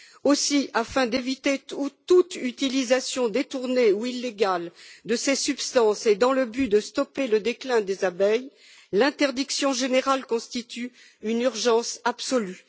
Aussi, afin d'éviter toute utilisation détournée ou illégale de ces substances et dans le but de stopper le déclin des abeilles, l'interdiction générale constitue une urgence absolue.